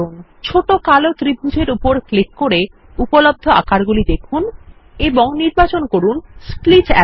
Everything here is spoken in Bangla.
ছোট কালো ত্রিভুজ এর উপর ক্লিক করে উপলব্ধ আকারগুলি দেখুন এবং নির্বাচন করুন স্প্লিট অ্যারো